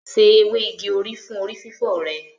Se ewé igi òrí fún orí fífọ́ rẹ.